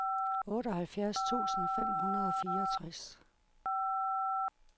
otteoghalvfjerds tusind fem hundrede og fireogtres